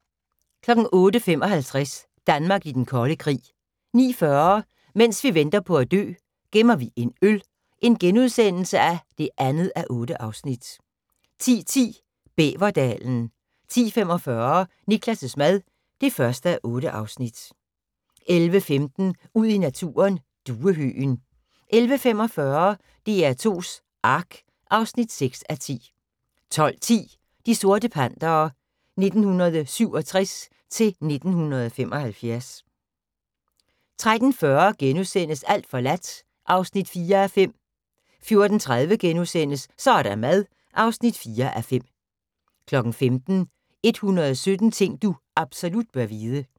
08:55: Danmark i Den Kolde Krig 09:40: Mens vi venter på at dø - gemmer vi en øl (2:8)* 10:10: Bæverdalen 10:45: Niklas' mad (1:8) 11:15: Ud i naturen: Duehøgen 11:45: DR2's Ark (6:10) 12:10: De sorte Pantere 1967-1975 13:40: Alt forladt (4:5)* 14:30: Så er der mad (4:5)* 15:00: 117 ting du absolut bør vide